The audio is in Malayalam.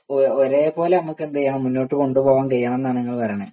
ഒരേപോലെ നമുക്ക് എന്ത്ചെയ്യണം മുന്നോട്ട് കൊണ്ടുപോവാൻ കഴിയണം എന്നാണ് നിങ്ങൾ പറയുന്നേ